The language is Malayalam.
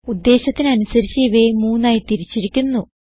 ഉദ്ദേശത്തിന് അനുസരിച്ച് ഇവയെ മൂന്നായി തിരിച്ചിരിക്കുന്നു